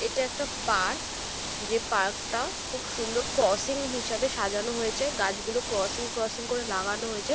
এটা একটা পার্ক । যে পার্ক টা খুব সুন্দর ক্রসিং হিসেবে সাজানো হয়েছে গাছগুলো ক্রসিং ক্রসিং করে লাগানো হয়েছে।